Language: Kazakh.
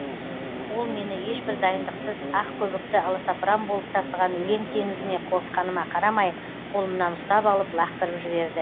ол мені ешбір дайындықсыз ақ көбікті аласапыран болып тасыған өлең теңізіне қорыққаныма қарамай қолымнан ұстап алып лақтырып жіберді